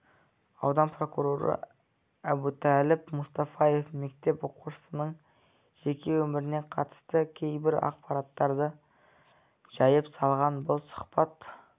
аудан прокуроры әбутәліп мұстафаев мектеп оқушысының жеке өміріне қатысты кейбір ақпараттарды жайып салған бұл сұхбат